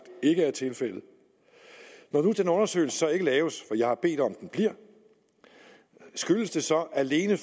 ikke er tilfældet når nu den undersøgelse ikke laves jeg har bedt om at den bliver skyldes det så alene